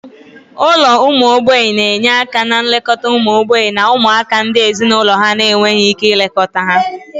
Ụlọ ụmụ mgbei na-enye aka na nlekọta ụmụ mgbei na ụmụaka ndị ezinụlọ ha na-enweghị ike ilekọta ha.